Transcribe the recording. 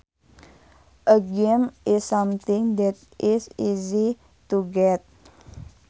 A gimme is something that is easy to get